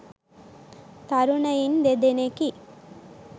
තරුණයින් දෙදෙනෙකි.